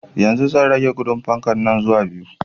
Yanzu zan rage gudun fankan nan zuwa biyu